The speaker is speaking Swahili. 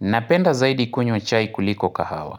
Napenda zaidi kunywa chai kuliko kahawa.